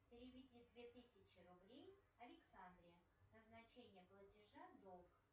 переведи две тысячи рублей александре назначение платежа долг